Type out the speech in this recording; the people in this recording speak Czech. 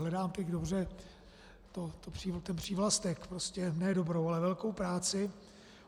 Hledám teď dobře ten přívlastek - prostě ne dobrou, ale velkou práci.